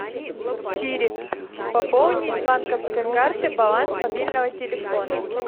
сири пополни с банковской карты баланс мобильного телефона